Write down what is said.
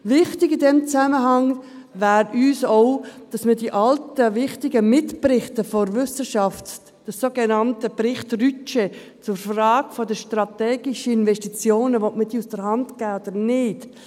Wichtig in diesem Zusammenhang wäre uns auch, dass man die alten, wichtigen Mitberichte der Wissenschaft – den sogenannten Bericht Rütsche zur Frage der strategischen Investitionen «Will man diese aus der Hand geben oder nicht?